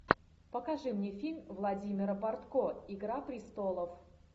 покажи мне фильм владимира бортко игра престолов